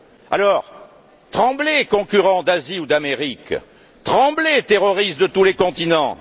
Alors, tremblez concurrents d'Asie ou d'Amérique, tremblez terroristes de tous les continents!